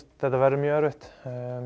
þetta verður mjög erfitt